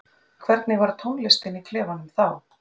Hvernig var tónlistin í klefanum þá?